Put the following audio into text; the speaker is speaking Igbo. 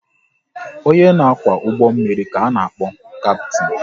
Onye na kwá ụgbọ mmiri ka a na-akpọ Kaptin